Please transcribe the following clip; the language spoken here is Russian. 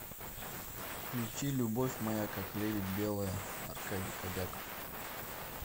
включи любовь моя как лебедь белая аркадий кобяков